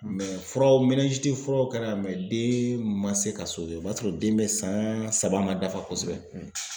furaw furaw kɛra den ma se ka o b'a sɔrɔ den bɛ san saba ma dafa kosɛbɛ.